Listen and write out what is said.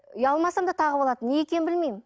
ұялмасам да тағып алатынмын неге екенін білмеймін